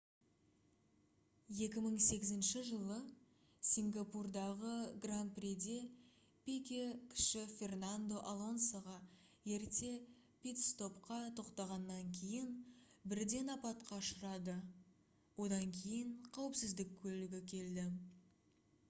2008 жылы сингапурдағы гран-приде пике-кіші фернандо алонсоға ерте питстопқа тоқтағаннан кейін бірден апатқа ұшырады одан кейін қауіпсіздік көлігі келді